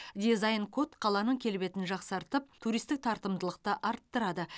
дизайн код қаланың келбетін жақсартып туристік тартымдылықты арттырады